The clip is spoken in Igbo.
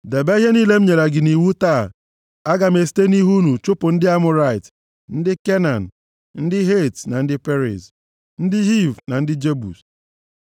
Debe ihe niile m nyere gị nʼiwu taa. Aga m esite nʼihu unu chụpụ ndị Amọrait, ndị Kenan, ndị Het, ndị Periz, ndị Hiv na ndị Jebus.